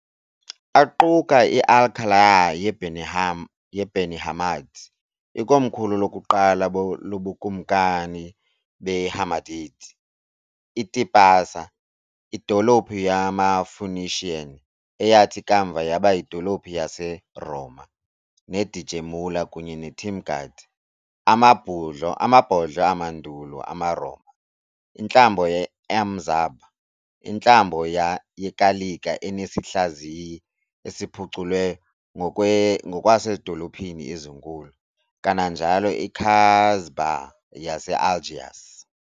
Aquka i-Al Qal'a ye-Beni Hammad, ikomkhulu lokuqala lobukumkani be-Hammadid, i-Tipasa, idolophu yama-Phoenician eyathi kamva yaba yidolophu yaseRoma, ne-Djémila kunye ne-Timgad, amabhodlo amandulo amaRoma, intlambo ye-M'Zab, intlambo yekalika enesihlaziyi esiphuculwe ngokwasezidolophini ezinkulu, kananjalo i-Casbah yase-Algiers.